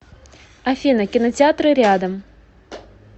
афина кинотеатры рядом